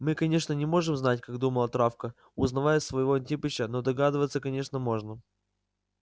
мы конечно не можем знать как думала травка узнавая своего антипыча но догадываться конечно можно